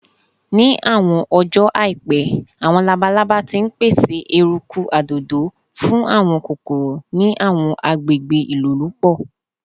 Ni awọn ọjọ aipẹ, awọn labalaba ti n pese eruku adodo fun awọn kokoro ni awọn agbegbe ilolupo